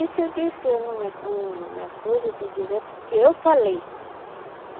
Isso eu disse, eu não me a não me acuso de dizer, porque eu falei.